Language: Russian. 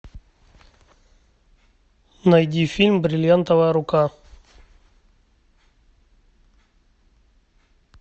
найди фильм бриллиантовая рука